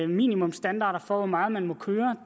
minimumsstandarder for hvor meget man må køre